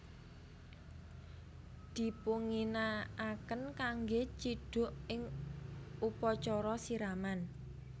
Dipunginakaken kanggè cidhuk ing upacara siraman